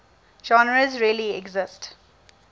genres really exist